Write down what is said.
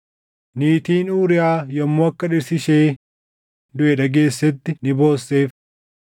Niitiin Uuriyaa yommuu akka dhirsi ishee duʼe dhageessetti ni boosseef.